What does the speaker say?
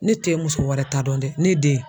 Ne te muso wɛrɛ ta dɔn dɛ ne den